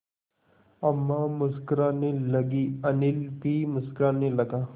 अम्मा मुस्कराने लगीं अनिल भी मुस्कराने लगा